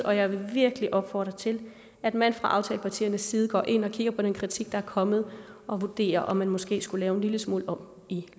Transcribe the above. og jeg vil virkelig opfordre til at man fra aftalepartiernes side går ind og kigger på den kritik der er kommet og vurderer om man måske skulle lave en lille smule om i